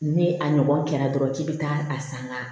Ni a ɲɔgɔn kɛra dɔrɔn k'i be taa a san ŋa